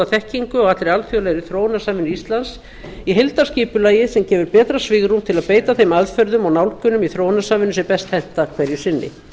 þekkingu á allri alþjóðlegri þróunarsamvinnu íslands í heildarskipulagi sem gefur betra svigrúm til að beita þeim aðferðum og nálgunum í þróunarsamvinnu sem best henta hverju sinni